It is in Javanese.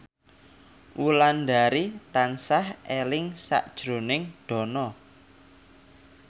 Wulandari tansah eling sakjroning Dono